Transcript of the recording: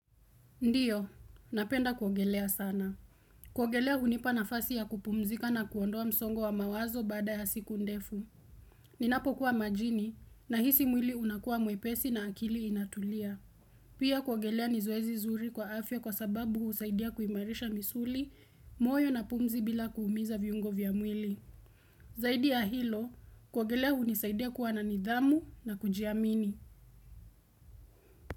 Ndio, napenda kuogelea sana. Kuogelea hunipa na fasi ya kupumzika na kuondoa msongo wa mawazo bada ya siku ndefu. Ninapo kuwa majini na hisi mwili unakua mwepesi na akili inatulia. Pia kuogelea nizoezi zuri kwa afya kwa sababu husaidia kuimarisha misuli, moyo na pumzi bila kuumiza viungo vya mwili. Zaidi ya hilo, kuogelea hunisaidia kuwa na nidhamu na kujiamini.